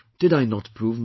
Did I not prove myself